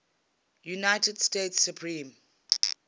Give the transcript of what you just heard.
united states supreme